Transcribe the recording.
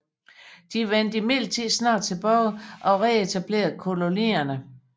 De vendte imidlertid snart tilbage og reetablerede kolonierne